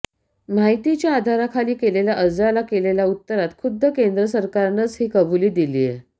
माहितीच्या अधिकाराखाली केलेल्या अर्जाला केलेल्या उत्तरात खुद्द केंद्र सरकारनंच ही कबुली दिलीय